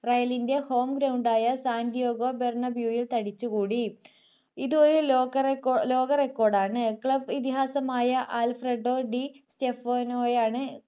rayal ൻ്റെ home ground ആയ Santiago ബർണബ്യുവിൽ തടിച്ചു കൂടി ഇത് ഒരു ലോക ലോക record ആണ് club ഇതിഹാസമായ ആൽഫ്രെഡോ ഡി സ്‌റ്റെഫനൊയാണ്